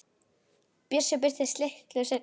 Bjössi birtist litlu seinna.